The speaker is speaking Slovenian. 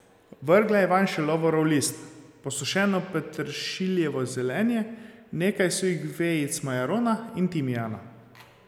Vrgla je vanj še lovorov list, posušeno peteršiljevo zelenje, nekaj suhih vejic majarona in timijana.